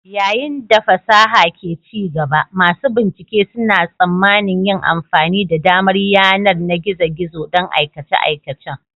Yayin da fasaha ke ci gaba, masu bincike suna tsammanin yin amfani da damar yanar na gizo-gizo don aikace-aikacen